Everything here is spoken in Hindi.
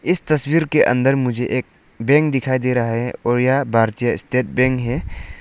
इस तस्वीर के अंदर मुझे एक बैंक दिखाई दे रहा है और यह भारतीय स्टेट बैंक है।